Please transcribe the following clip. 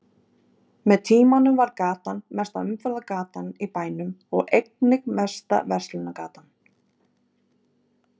Með tímanum varð gatan mesta umferðargatan í bænum og einnig mesta verslunargatan.